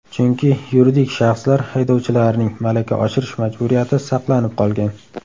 Chunki yuridik shaxslar haydovchilarining malaka oshirish majburiyati saqlanib qolgan.